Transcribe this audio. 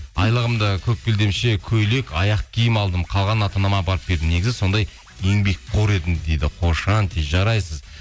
айлығымды көк белдемше көйлек аяқ киім алдым қалғанын ата анама апарып бердім негізі сондай еңбекқор едім дейді қошанти жарайсыз